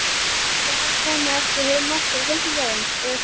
Ætli hann komi ekki heim aftur á fimmtudag eða föstudag.